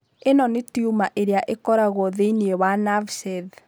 Ĩno nĩ tiuma ĩrĩa ĩkoragũo thĩinĩ wa nerve sheath.